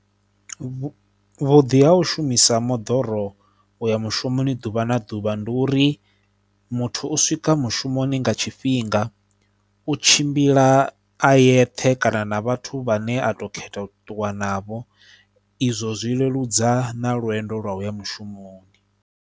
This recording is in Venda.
Vhu vhuḓi ha u shumisa moḓoro u ya mushumoni ḓuvha na ḓuvha ndi uri muthu u swika mushumoni nga tshifhinga, u tshimbila a yeṱhe kana na vhathu vhane a tou khetha u ṱuwa navho, izwo zwi leludza na lwendo lwa u ya mushumoni.